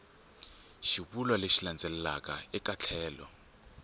xivulwa lexi landzelaka eka tlhelo